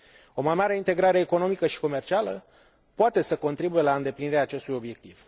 O mai mare integrare economică și comercială poate să contribuie la îndeplinirea acestui obiectiv.